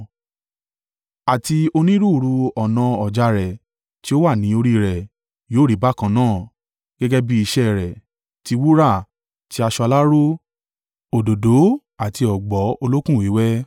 Àti onírúurú ọnà ọ̀já rẹ̀, tí ó wà ni orí rẹ̀, yóò rí bákan náà, gẹ́gẹ́ bi iṣẹ́ rẹ̀, tí wúrà, ti aṣọ aláró, òdòdó àti ọ̀gbọ̀ olókùn wíwẹ́.